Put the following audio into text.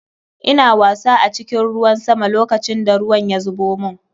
Ina wasa a cikin ruwan sama lokacin da ruwan ya zubo mun.